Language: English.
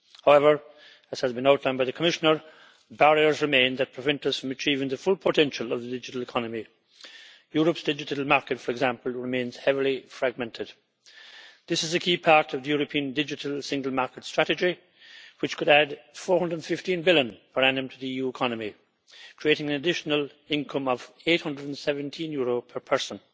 However, as has been outlined by the Commissioner, barriers remain that prevent us from achieving the full potential of the digital economy. Europe's digital market, for example, remains heavily fragmented. This is a key part of the European digital single market strategy which could add EUR 415 billion per annum to the EU economy, creating an additional income of EUR 817 per person.